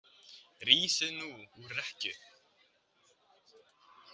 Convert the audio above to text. Rísið nú úr rekkju.